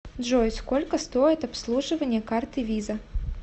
джой сколько стоит обслуживание карты виза